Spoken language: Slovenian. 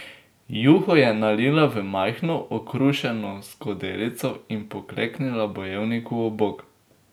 Juho je nalila v majhno, okrušeno skodelico in pokleknila bojevniku ob bok.